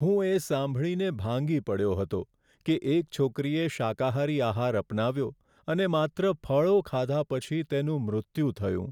હું એ સાંભળીને ભાંગી પડ્યો હતો કે એક છોકરીએ શાકાહારી આહાર અપનાવ્યો અને માત્ર ફળો ખાધા પછી તેનું મૃત્યુ થયું.